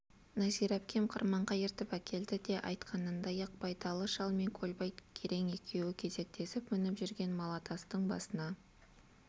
нәзира әпкем қырманға ертіп әкелді де айтқанындай-ақ байдалы шал мен көлбай керең екеуі кезектесіп мініп жүрген малатастың басына